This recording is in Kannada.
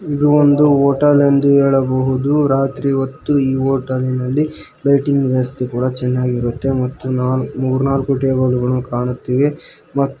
ಇದು ಒಂದು ಹೋಟೆಲ್ ಎಂದು ಹೇಳಬಹುದು ರಾತ್ರಿ ಹೊತ್ತು ಈ ಹೋಟೆಲಿ ನಲ್ಲಿ ಲೈಟಿಂಗ್ ವ್ಯವಸ್ಥೆ ಕೂಡ ಚೆನ್ನಾಗಿರುತ್ತೆ ಮತ್ತು ನಾಲ್ ಮೂರ್ನಾಲ್ಕು ಟೇಬಲು ಗಳನ್ನು ಕಾಣುತ್ತಿವೆ ಮ --